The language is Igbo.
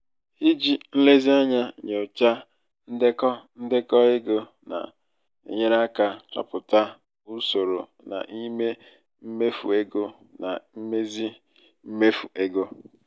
iji nlezianya nyochaa ndekọ ndekọ ego na-enyere aka chọpụta usoro n'ime mmefu ego na mmezi mmefu ego.